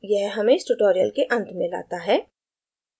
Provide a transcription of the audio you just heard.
यह हमें इस tutorial के अंत में लाता है